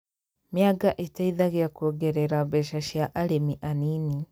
Mĩanga ĩteithagĩa kuongerera mbeca cia arĩmi anini